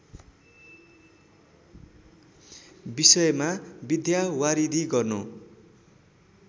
विषयमा विद्यावारिधि गर्नु